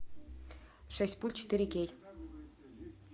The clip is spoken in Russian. шесть пуль четыре кей